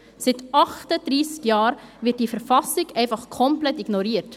Seit 38 Jahren wird diese Verfassung einfach komplett ignoriert!